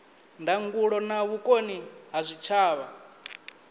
ndangulo na vhukoni ha zwitshavha